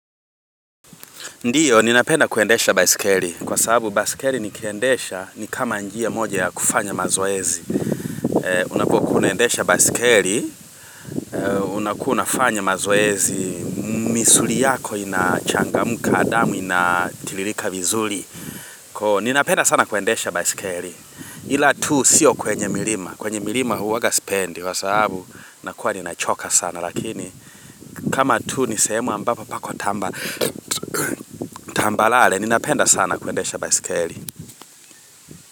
Ndio, ninapenda kuendesha baiskeli. Kwa sababu, baiskeli nikiendesha, ni kama njia moja ya kufanya mazoezi. Unapokunaendesha baisikeli, unapu unafanya mazoezi, misuli yako inachangamka, adamu inatilirika vizuli. Kwa ninapenda sana kuendesha baisikeli. Ila tu, siyo kwenye milima. Kwenye milima, uwaga spendi. Kwa sababu, nakuwa ninachoka sana. Lakini kama tu nisemu ambapo pako tambalale ninapenda sana kuendesha baisikeli.